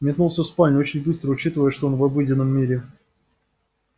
метнулся в спальню очень быстро учитывая что он в обыденном мире